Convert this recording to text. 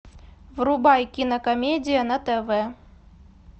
врубай кинокомедия на тв